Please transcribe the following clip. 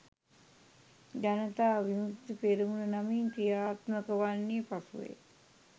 ජනතා විමුක්ති පෙරමුණ නමින් ක්‍රියාත්මක වන්නේ පසුවය.